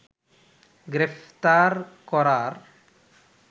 গ্রেফতার করার